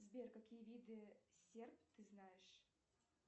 сбер какие виды серп ты знаешь